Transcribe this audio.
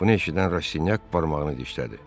Bunu eşidən Rasinyak barmağını dişlədi.